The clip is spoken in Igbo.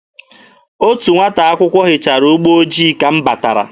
Otu nwata akwụkwọ hichara ụgbọ ojii ka m batara.